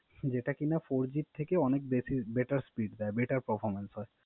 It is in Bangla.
যেটা কিনা Four G থেকেও অনেক Better speed দেয়, Better performance হয়।